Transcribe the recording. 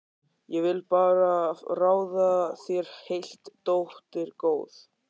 Ég vil bara ráða þér heilt, dóttir góð.